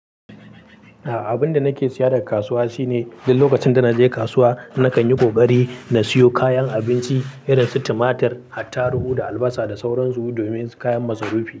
Abun da nake siya daga kasuwa shine duk lokacin da naje kasuwa nakan yi ƙoƙari na siyo kayan abinci irin su tumatir, attarugu da albasa da sauran su domin kayan masarufi.